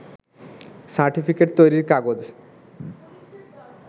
certificate তৈরিরকাগজ